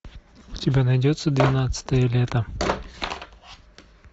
у тебя найдется двенадцатое лето